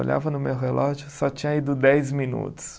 Olhava no meu relógio, só tinha ido dez minutos.